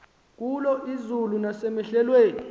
kulo izulu nasemehlweni